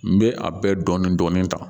N bɛ a bɛɛ dɔɔnin dɔɔnin ta